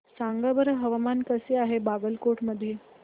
सांगा बरं हवामान कसे आहे बागलकोट मध्ये